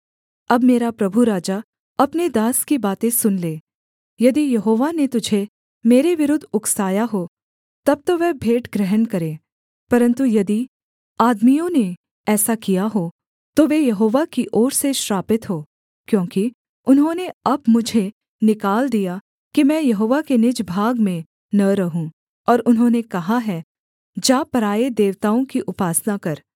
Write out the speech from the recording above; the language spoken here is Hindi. अब मेरा प्रभु राजा अपने दास की बातें सुन ले यदि यहोवा ने तुझे मेरे विरुद्ध उकसाया हो तब तो वह भेंट ग्रहण करे परन्तु यदि आदमियों ने ऐसा किया हो तो वे यहोवा की ओर से श्रापित हों क्योंकि उन्होंने अब मुझे निकाल दिया कि मैं यहोवा के निज भाग में न रहूँ और उन्होंने कहा है जा पराए देवताओं की उपासना कर